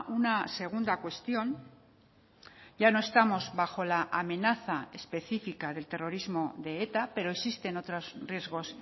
una segunda cuestión ya no estamos bajo la amenaza específica del terrorismo de eta pero existen otros riesgos